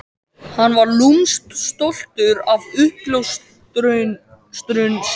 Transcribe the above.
Hann var lúmskt stoltur af uppljóstrun sinni.